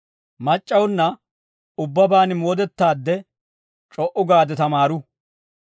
Mac'c'awunna ubbabaan moodettaadde, c'o"u gaade tamaaru.